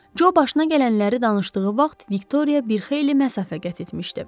Co başına gələnləri danışdığı vaxt Viktoriya bir xeyli məsafə qət etmişdi.